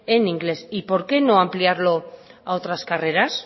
en inglés y por qué no ampliarlo a otras carreras